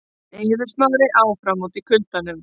Eiður Smári áfram úti í kuldanum